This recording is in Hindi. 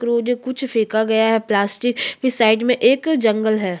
--करोगे कुछ फेंका गया है प्लास्टिक की साइड में एक जंगल है।